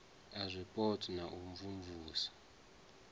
a zwipotso na u imvumvusa